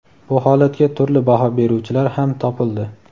Bu holatga turli baho beruvchilar ham topildi.